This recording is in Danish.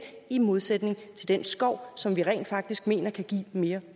i modsætning til den skov som vi rent faktisk mener kan give mere